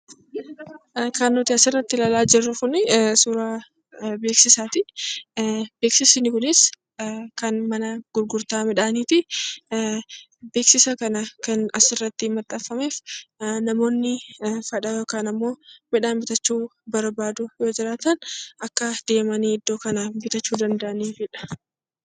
Kan nuti asirratti ilaalaa jirru kun suuraa beeksisaati. Beeksisti kunis kan mana gurgurtaa midhaaniiti. Beeksisa kan asirratti maxxansameef namoonni kana bitachuu barbaadan yoo jiraatan akka deemanii iddoo kanaa bitachuu danda'aniifidha.